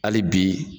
Hali bi